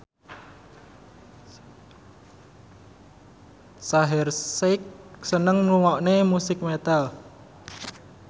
Shaheer Sheikh seneng ngrungokne musik metal